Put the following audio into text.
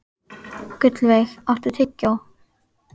Gullveig, áttu tyggjó?